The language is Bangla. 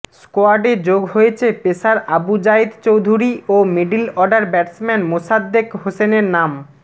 স্কোয়াড়ে যোগ হয়েছে পেসার আবু জায়েদ চৌধুরী ও মিডল অর্ডার ব্যাটসম্যান মোসাদ্দেক হোসেনের নাম